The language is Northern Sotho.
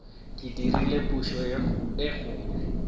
ke dirile phošo ye kgolo